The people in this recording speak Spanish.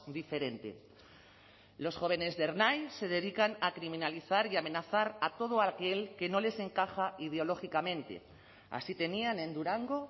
diferente los jóvenes de ernai se dedican a criminalizar y a amenazar a todo aquel que no les encaja ideológicamente así tenían en durango